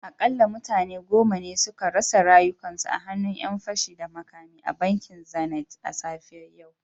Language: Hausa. Akalla mutane goma ne suka rasa rayukansu a hannun ‘yan fashi da makami a bankin zenith da safiyar yau